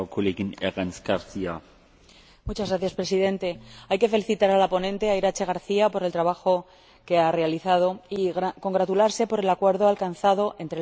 Señor Presidente, hay que felicitar a la ponente, Iratxe García, por el trabajo que ha realizado y congratularse por el acuerdo alcanzado entre el Parlamento y el Consejo de Ministros.